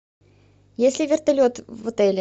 есть ли вертолет в отеле